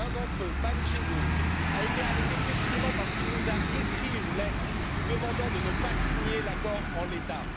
L'un d'entre eux, Pham Chi Dung, a été arrêté précisément parce qu'il nous a écrit une lettre pour nous demander de ne pas signer l'accord en l'état.